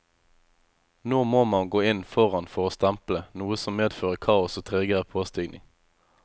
Nå må man gå inn foran for å stemple, noe som medfører kaos og tregere påstigning.